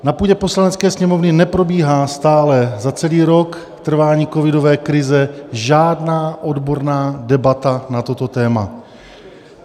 Na půdě Poslanecké sněmovny neprobíhá stále za celý rok trvání covidové krize žádná odborná debata na toto téma.